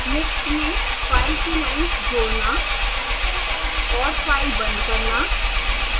list में file की lines जोड़ना और फाइल बंद करना